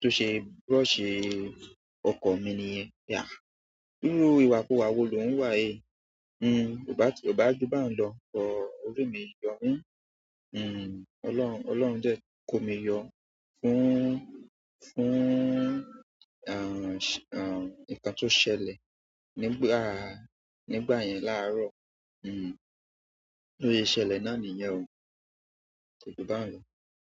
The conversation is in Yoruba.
tó ṣe brush ọkọ́ mi nìyẹn. Irú ìwà ku wa wo lò ń wà yi? Ọ bá, ọ bá jù bá n lọ but, ojú mi yọ̀ mí. Ọlọ́run, Ọlọ́run jẹ kó mi yọ fún, fún nǹkan tó ṣẹlẹ̀ nígbà, nígbà yẹn láàárọ̀. Tó ṣe ṣẹlẹ̀ náà nìyẹn o. Kọjú bá n lọ.